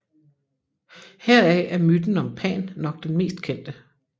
Heraf er myten om Pan nok den mest kendte